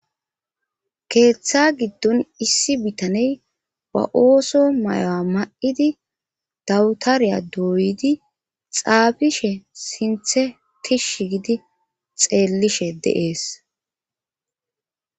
keeththa giddon issi bitaney wa ooso mayo7a ma7idi dawutariya dooydi xaabishe sinthe tishsh gidi xeellishe de7ees